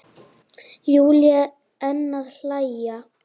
Júlía enn að hlæja.